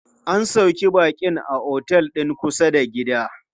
An sauƙe baƙin a otel din kusa da gida.